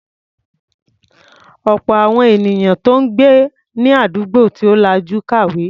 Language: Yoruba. Ọ̀pọ̀ àwọn ènìyàn tó ń gbé ní àdúgbò tí ò lajú ò kàwé.